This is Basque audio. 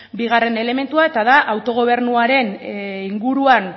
bigarren elementua eta da autogobernuaren inguruan